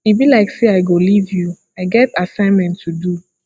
e be like say i go live you i get assignment to do